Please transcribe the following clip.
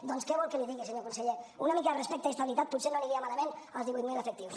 doncs què vol que li digui senyor conseller una mica de respecte i estabilitat potser no els aniria malament als divuit mil efectius